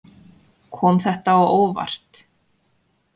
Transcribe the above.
Kom þetta á óvart.